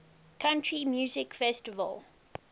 country music festival